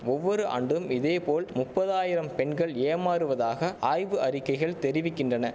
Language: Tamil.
ஒவ்வொரு ஆண்டும் இதேபோல முப்பதாயிரம் பெண்கள் ஏமாறுவதாக ஆய்வு அறிக்கைகள் தெரிவிக்கின்றன